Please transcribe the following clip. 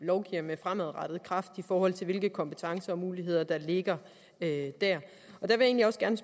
lovgiver med fremadrettet kraft i forhold til hvilke kompetencer og muligheder der ligger der jeg vil egentlig også gerne